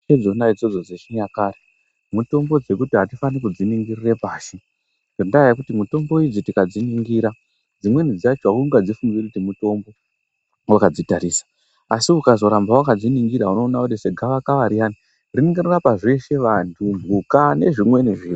Mitombo idzona idzodzo dzechinyakare mitombo dzekuti hatifani kudziningirira pashi. Ngendaa yekuti mitombo idzi tikadziningira dzimweni dzacho haungadzifungiri kuti mutombo vakadzitarisa. Asi ukazoramba vakadziningira unoona kuti segavakava riyani rinongorapa zveshe vantu, mhuka nezvimweni zviro.